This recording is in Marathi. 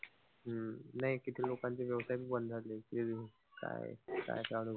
हम्म नाई किती लोकांचे व्यवसाय बी बंद झाले. काय काय